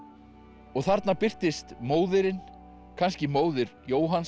og þarna birtist móðirin kannski móðir Jóhanns